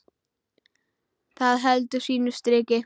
Það heldur sínu striki.